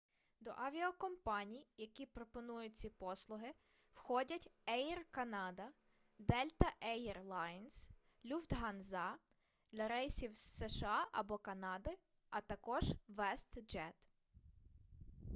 до авіакомпаній які пропонують ці послуги входять еір канада дельта ейр лайнс люфтганза для рейсів з сша або канади а також вестджет